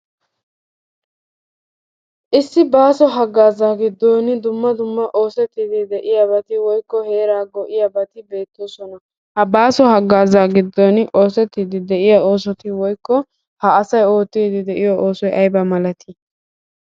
Issi baaso hagaazaa giddon dumma dumma oosettidi de'iyaabati woykko heeraa go"iyaabati beettoosona. Ha baaso haggaazaa giddon oosetridi de'iyaa ossoti woykko ha asay oottiiddi de'iyo oosoy aybba malati?